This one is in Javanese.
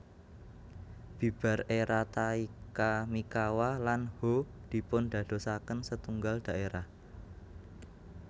Bibar era Taika Mikawa lan Ho dipundadosaken setunggal dhaerah